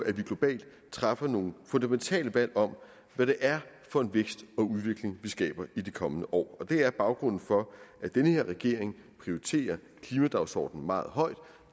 at vi globalt træffer nogle fundamentale valg om hvad det er for en vækst og udvikling vi skaber i de kommende år det er baggrunden for at den her regering prioriterer klimadagsordenen meget højt